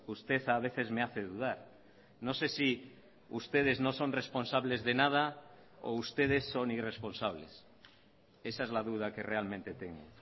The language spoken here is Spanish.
usted a veces me hace dudar no sé si ustedes no son responsables de nada o ustedes son irresponsables esa es la duda que realmente tengo